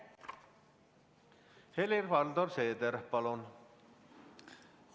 Helir-Valdor Seeder, palun!